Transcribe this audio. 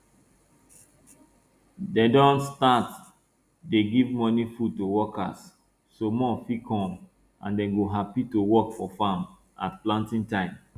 dem don start dey give morning food to workers so more fit come and dey go happy to work for farm at planting time